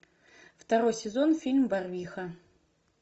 второй сезон фильм барвиха